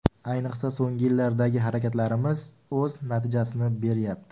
Ayniqsa, so‘nggi yillardagi harakatlarimiz o‘z natijasini beryapti.